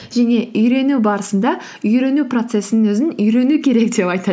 және үйрену барысында үйрену процессінің өзін үйрену керек деп айтады